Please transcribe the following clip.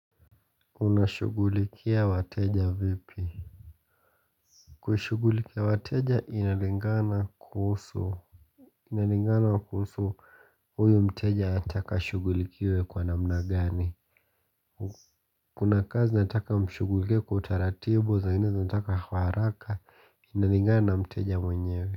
Unashughulikia wateja vipi? Kushughulikia wateja inalingana kuhusu inalingana kuhusu huyu mteja atanaka shughulikiiwe kwa namna gani. Kuna kazi zinataka mshughulikia kwa utaratibu zingene zinataka kwa haraka. Inalingana na mteja mwenyewe.